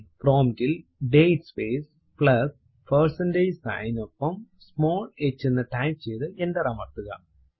prompt ൽ date space plus percentage sign നിനൊപ്പo small h എന്ന് ടൈപ്പ് ചെയ്തു എന്റർ അമർത്തുക